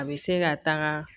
A bɛ se ka taga